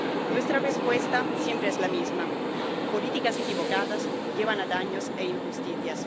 Nuestra respuesta siempre es la misma políticas equivocadas llevan a daños e injusticias.